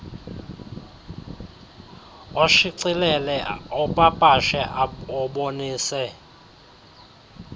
oshicilele opapashe obonise